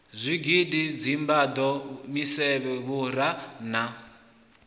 zwigidi dzimbado misevhe vhura na